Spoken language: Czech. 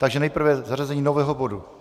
Takže nejprve zařazení nového bodu.